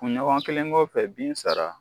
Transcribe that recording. Kunɲɔgɔn kelen kɔfɛ bin sara